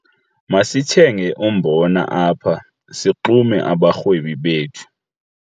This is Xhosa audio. Masithenge umbona apha sixume abarhwebi bethu.